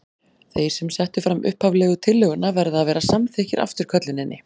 Þeir sem settu fram upphaflegu tillöguna verða að vera samþykkir afturkölluninni.